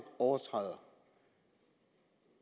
overtræder